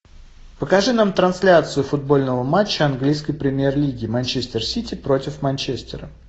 покажи нам трансляцию футбольного матча английской премьер лиги манчестер сити против манчестера